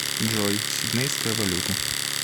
джой сиднейская валюта